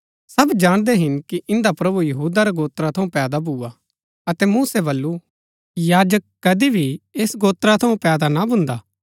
सब जाणदै हिन कि इन्दा प्रभु यहूदा रै गोत्रा थऊँ पैदा भुआ अतै मूसै बल्लू याजक कदी भी ऐस गोत्रा थऊँ ना पैदा भून्दा